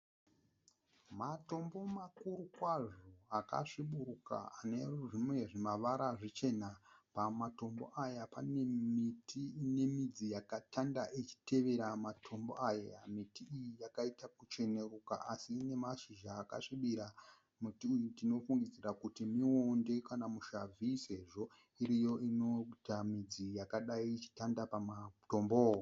Matombo makuru kwazvo akasviburuka anezvimwe zvimavara zvichena. Pamatombo aya pane miti inemidzi yakatanda ichitevera matombo aya. Miti iyi yakaita kuchenuruka asi inemashizha akasvibira. Muti uyu tinofingidzira kuti muonde kana mushavhi sezvo iriyo inoita midzi yakadai achitanda pamatombo.